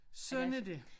Sådan er det